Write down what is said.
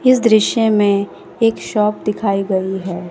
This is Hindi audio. इस दृश्य में एक शॉप दिखाई गई है।